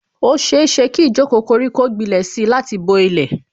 Ó ṣeéṣe kí ijoko koriko gbilẹ̀ si láti bo ilẹ̀